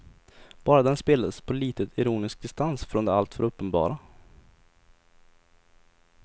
Bara den spelades på litet ironisk distans från det alltför uppenbara.